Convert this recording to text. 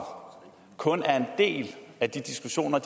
kun er en del af de diskussioner